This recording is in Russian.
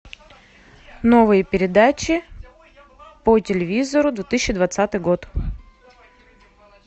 новые передачи по телевизору две тысячи двадцатый год